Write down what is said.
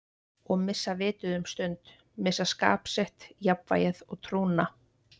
Og missa vitið um stund, missa skap sitt, jafnvægið og trúna.